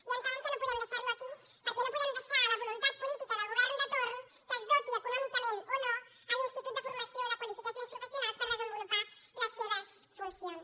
i entenem que no podem deixar lo aquí perquè no podem deixar a la voluntat política del govern de torn que es doti econòmicament o no l’institut de formació i qualificacions professionals per desenvolupar les seves funcions